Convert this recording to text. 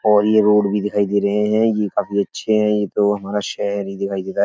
और ये रोड भी दिखाई दे रहे हैं। ये काफी अच्छे हैं। ये तो हमारा शहर ही दिखाई दे रहा है।